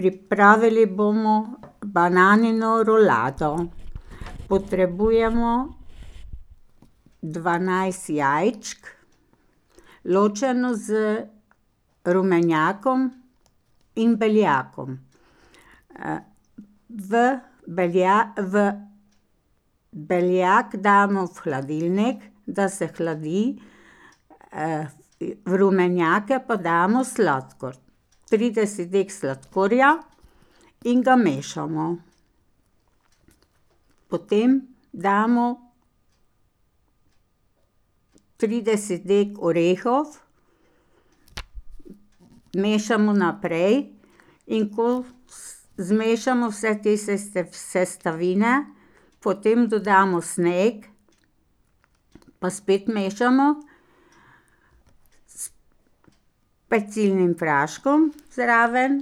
Pripravili bomo bananino rulado. Potrebujemo dvanajst jajčk, ločeno z rumenjakom in beljakom. v v, beljak damo v hladilnik, da se hladi, v rumenjake pa damo sladkor. Trideset dek sladkorja in ga mešamo. Potem damo trideset dek orehov, mešamo naprej, in ko zmešamo vse te sestavine, potem dodamo sneg, pa spet mešamo s pecilnim praškom zraven,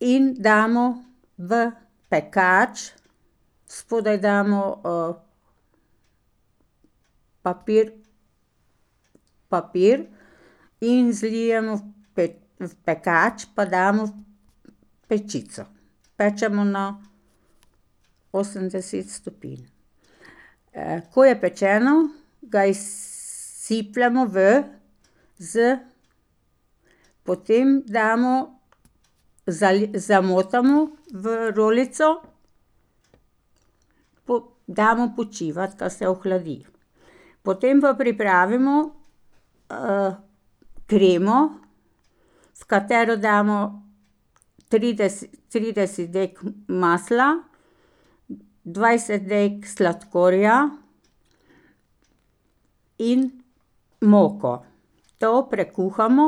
in damo v pekač. Spodaj damo, papir, papir in zlijemo v v pekač, pa damo v pečico. Pečemo na osemdeset stopinj. ko je pečeno, ga izsipljemo v z. Potem damo, zamotamo v rolico, damo počivati, da se ohladit. Potem pa pripravimo kremo, v katero damo trideset dek masla, dvajset dek sladkorja, in moko. To prekuhamo,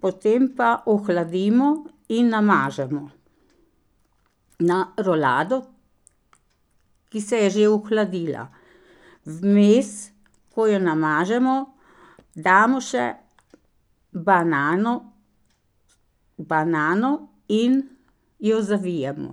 potem pa ohladimo in namažemo na rolado, ki se je že ohladila. Vmes, ko jo namažemo, damo še banano, banano, in jo zavijemo.